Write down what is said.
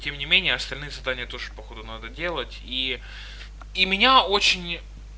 тем не менее остальные задания тоже походу надо делать и и меня очень